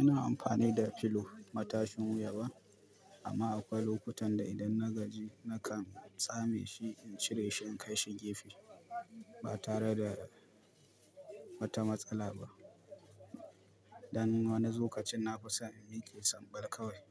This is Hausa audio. Ina amfani da pillow matashin wuya ba amma akwai lokutan da idan na gaji nakan tsame shi in cire shi in kai shi gefe ba tare da wata matsala ba. Dan wani lokacin na fison in miƙe sambal kawai